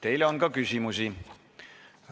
Teile on ka küsimusi.